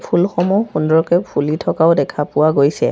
ফুলসমূহ সুন্দৰকৈ ফুলি থকাও দেখা পোৱা গৈছে।